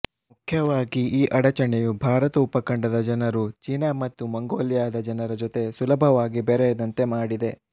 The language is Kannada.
ಮುಖ್ಯವಾಗಿ ಈ ಅಡಚಣೆಯು ಭಾರತ ಉಪಖಂಡದ ಜನರು ಚೆನಾ ಮತ್ತು ಮಂಗೋಲಿಯಾದ ಜನರ ಜೊತೆ ಸುಲಭವಾಗಿ ಬೆರೆಯದಂತೆ ಮಾಡಿದೆ